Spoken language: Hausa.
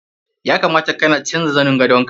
Ya kamata kana canja zanin gandaon ka.